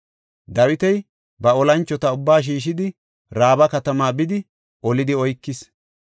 Dawiti ba olanchota ubbaa shiishidi, Raaba katama bidi, olidi oykis.